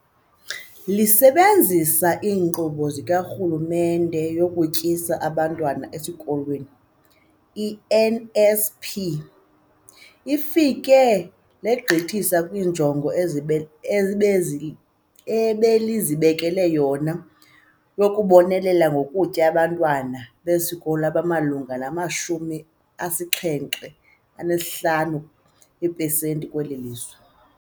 Lisebenzisa iNkqubo kaRhulumente yokuTyisa Abantwana Ezikolweni, i-NSNP, lifike legqithisa kwiinjongo ezi ebeli ebezi ebelizibekele yona yokubonelela ngokutya abantwana besikolo abamalunga nama-75 eepesenti kweli lizwe.